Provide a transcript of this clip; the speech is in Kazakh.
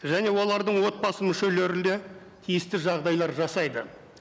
және олардың отбасы мүшелерін де тиісті жағдайлар жасайды